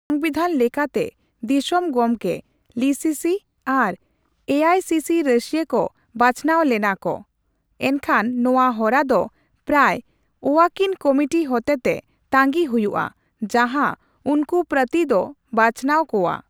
ᱥᱚᱝᱵᱤᱫᱷᱟᱱ ᱞᱮᱠᱟᱛᱮ, ᱫᱤᱥᱚᱢ ᱜᱚᱢᱠᱮ ᱞᱤᱥᱤᱥᱤ ᱟᱨ ᱮᱥᱟᱭᱥᱤᱥᱤ ᱨᱟᱹᱥᱤᱭᱟᱹ ᱠᱚ ᱵᱟᱪᱱᱟᱣ ᱞᱮᱱᱟ ᱠᱚ, ᱮᱱᱠᱷᱚᱱ ᱱᱚᱣᱟ ᱦᱚᱨᱟ ᱫᱚ ᱯᱨᱟᱭ ᱳᱭᱟᱠᱤᱱ ᱠᱚᱢᱩᱴᱤ ᱦᱚᱛᱮᱛᱮ ᱛᱟᱸᱜᱤ ᱦᱚᱭᱩᱜ ᱟ, ᱡᱟᱦᱟ ᱩᱱᱠᱩ ᱯᱨᱟᱛᱤ ᱫᱚ ᱵᱟᱪᱱᱟᱣ ᱠᱚᱣᱟ ᱾